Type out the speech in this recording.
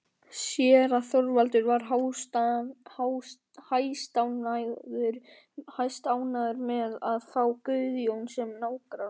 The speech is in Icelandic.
Séra Þorvaldur var hæstánægður með að fá Guðjón sem nágranna.